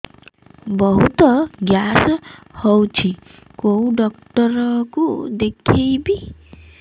ବହୁତ ଗ୍ୟାସ ହଉଛି କୋଉ ଡକ୍ଟର କୁ ଦେଖେଇବି